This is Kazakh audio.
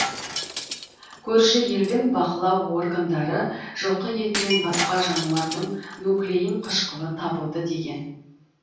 көрші елдің бақылау органдары жылқы етінен басқа жануардың нуклеин қышқылы табылды деген